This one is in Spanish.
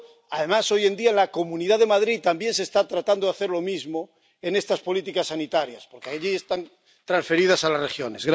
Además, hoy en día, en la Comunidad de Madrid también se está tratando de hacer lo mismo en estas políticas sanitarias —porque en España están transferidas a las regiones—.